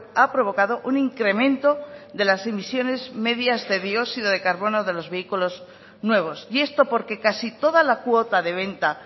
ha provocado un incremento de las emisiones medias de dióxido de carbono de los vehículos nuevos y esto porque casi toda la cuota de venta